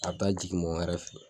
A be taa jigin mɔgɔ wɛrɛ fe yen